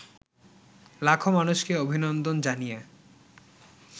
লাখো মানুষকে অভিনন্দন জানিয়ে